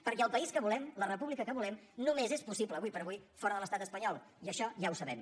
perquè el país que volem la república que volem només és possible ara per ara fora de l’estat espanyol i això ja ho sabem